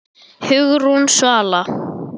Hugrún Svala.